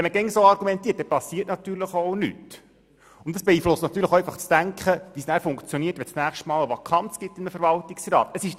Wenn man immer so argumentiert, geschieht natürlich nichts, und das beeinflusst das Denken und wie es nachher funktioniert, wenn in einem Verwaltungsrat die nächste Vakanz besteht.